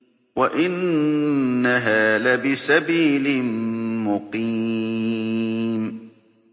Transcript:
وَإِنَّهَا لَبِسَبِيلٍ مُّقِيمٍ